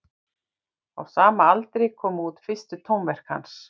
Á sama aldri komu út fyrstu tónverk hans.